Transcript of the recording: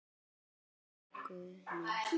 Ó Guð minn.